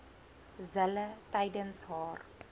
zille tydens haar